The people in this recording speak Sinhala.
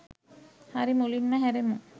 හරි මුලින්ම හැරෙමු